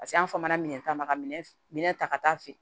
Paseke an fa fɔmana minɛn ta ma ka minɛ ta ka taa fɛ